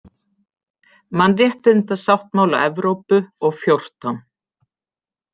Mannréttindasáttmála Evrópu og XIV.